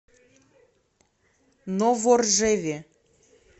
новоржеве